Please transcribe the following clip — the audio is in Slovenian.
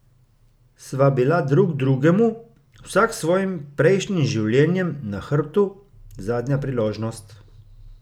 Sva bila drug drugemu, vsak s svojim prejšnjim življenjem na hrbtu, zadnja priložnost?